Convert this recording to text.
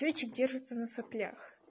ключик держится на соплях